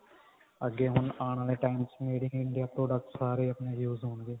ਅੱਗੇ ਹੁਣ ਆਉਣ ਆਲੇ time ਚ made in India products ਸਾਰੇ ਆਪਣੇ use ਹੋਣਗੇ